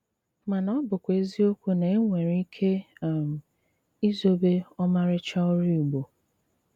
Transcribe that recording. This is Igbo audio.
Màná ọ́ bụ́kwà ézíòkwù ná énwéré íké um ízòbé ómárị́chá órù Ìgbò.